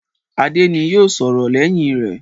Adé ni yóò sọ̀rọ̀ lẹ́yìn rẹ.